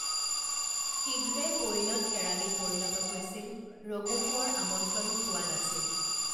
শীঘ্ৰে পৈণত কেৰাণীত পৰিণত হৈছিল ৰঘু কোঁৱৰ আমন্ত্ৰণো পোৱা নাছিল